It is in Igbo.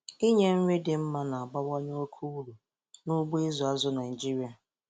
inye nri dị mma na-abawanye oke uru n'ugbo ịzụ azụ Naịjiria.